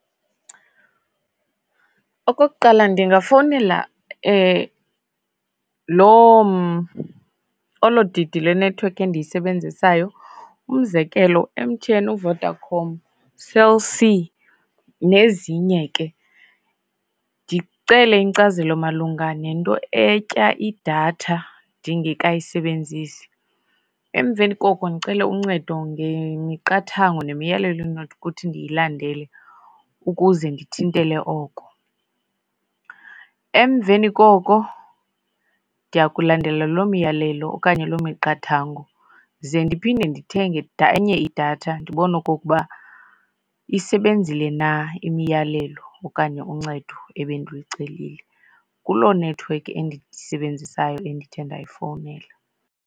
Okokuqala ndingafowunela loo olo didi lenethiwekhi endiyisebenzisayo, umzekelo M_T_N, uVodacom, Cell C, nezinye ke ndicele iinkcazelo malunga nento etya idatha ndingekayisebenzisi. Emveni koko ndicele uncedo ngemiqathango nemiyalelo endinokuthi ndiyilandele ukuze ndithintele oko. Emveni koko ndiya kulandela loo miyalelo okanye loo miqathango ze ndiphinde ndithenge enye idatha ndibone okokuba isebenzile na imiyalelo okanye uncedo ebendilucelile kuloo nethiwekhi endiyisebenzisayo endithe ndayifowunela.